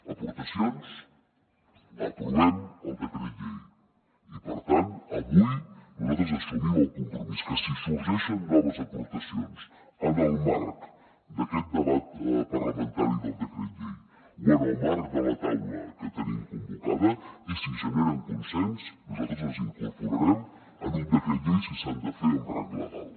aportacions aprovem el decret llei i per tant avui nosaltres assumim el compromís que si sorgeixen noves aportacions en el marc d’aquest debat parlamentari del decret llei o en el marc de la taula que tenim convocada i si generen consens nosaltres les incorporarem en un decret llei si s’han de fer amb rang legal